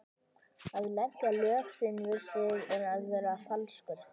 Að leggja lög sín við þig er að vera falskur.